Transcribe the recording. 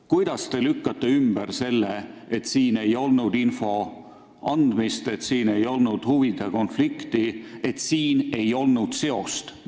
Kuidas te lükkate ümber selle, et siin ei olnud info andmist, et siin ei olnud huvide konflikti, et siin ei olnud seost?